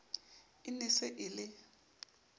e ne se e le